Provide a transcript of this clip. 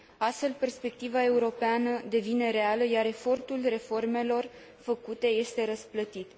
Astfel, perspectiva europeană devine reală, iar efortul reformelor făcute este răsplătit.